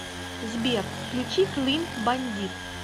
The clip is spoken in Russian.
сбер включи клин бандит